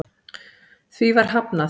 Því var hafnað